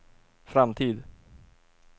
framtid